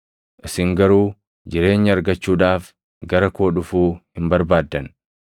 isin garuu jireenya argachuudhaaf gara koo dhufuu hin barbaaddan.